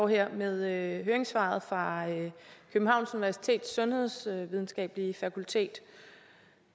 her med høringssvaret fra københavns universitets sundhedsvidenskabelige fakultet